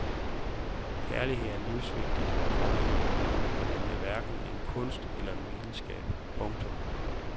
Kærlighed er livsvigtig, komma men den er hverken en kunst eller en videnskab. punktum